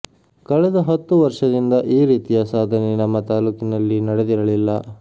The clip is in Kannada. ಕಳೆದ ಹತ್ತು ವರ್ಷದಿಂದ ಈ ರೀತಿಯ ಸಾಧನೆ ನಮ್ಮ ತಾಲೂಕಿನಲ್ಲಿ ನಡೆದಿರಲಿಲ್ಲ